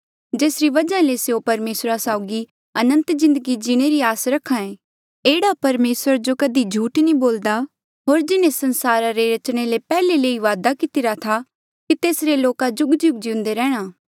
जेसरी वजहा ले स्यों परमेसरा साउगी अनंत जिन्दगी जीणे री आस रखे एह्ड़ा परमेसर जो कधी झूठ नी बोल्दा होर जिन्हें संसारा रे रचणे ले पैहले ले ही वादा कितिरा था कि तेसरे लोका जुगजुग जिउंदे रैहणा